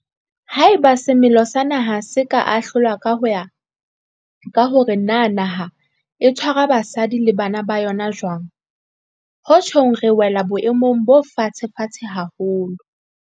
Haeba semelo sa naha se ka ahlolwa ho ya ka hore na naha e tshwara basadi le bana ba yona jwang, ho tjhong re wela boemong bo fatshefatshe haholo.